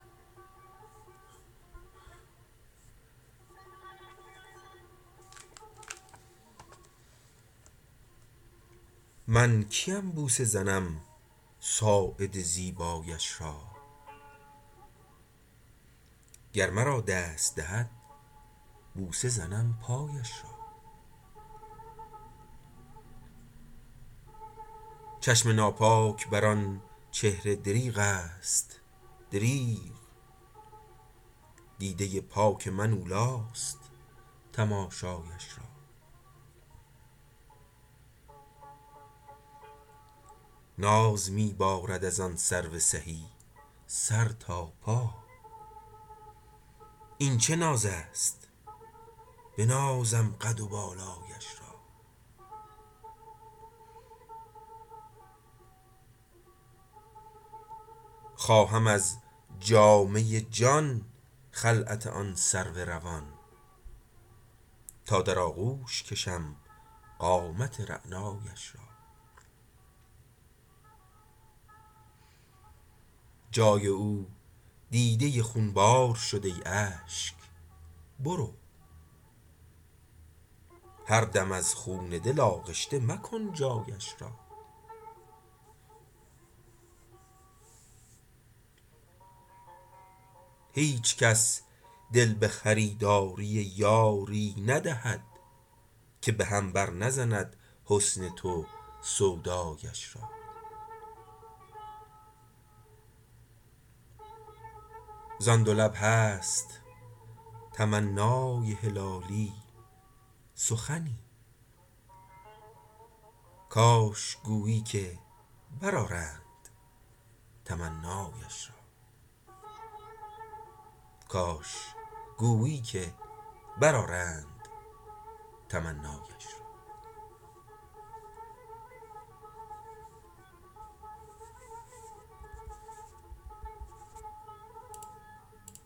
من کیم بوسه زنم ساعد زیبایش را گر مرا دست دهد بوسه زنم پایش را چشم ناپاک بر آنچهره دریغست دریغ دیده پاک من اولیست تماشایش را ناز میبارد از آن سرو سهی سر تا پا این چه نازست بنازم قد و بالایش را خواهم از جامه جان خلعت آن سرو روان تا در آغوش کشم قامت رعنایش را جای او دیده خونبار شد ای اشک برو هر دم از خون دل آغشته مکن جایش را هیچ کس دل بخریداری یاری ندهد که بهم بر نزند حسن تو سودایش را زان دو لب هست تمنای هلالی سخنی کاش گویی که بر آرند تمنایش را